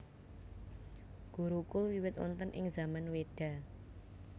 Gurukul wiwit wonten ing zaman Weda